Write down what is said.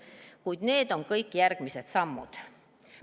Kuid need on kõik järgmised sammud.